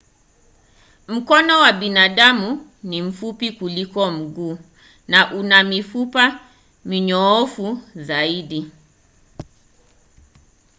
mkono wa binadamu ni mfupi kuliko mguu na una mifupa minyoofu zaidi.